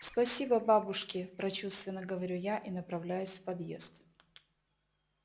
спасибо бабушки прочувственно говорю я и направляюсь в подъезд